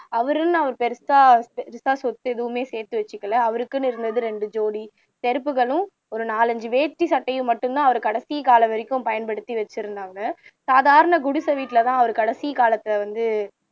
அவருன்னு அவர் பெருசா பெருசா சொத்து எதுவுமே சேர்த்து வச்சுக்கல அவருக்குன்னு இருந்தது இரண்டு ஜோடி செருப்புகளும் ஒரு நாலைந்து வேஸ்ட்டி சட்டையும் மட்டுந்தான் அவர் கடைசி காலம் வரைக்கும் பயன்படுத்தி வைச்சிருந்தாங்க சாதாரண குடிசை வீட்டுலதான் அவர் கடைசி காலத்துல வந்து